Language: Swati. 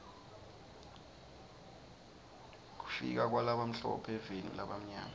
kufika kwalabamhlophe eveni lalabamnyama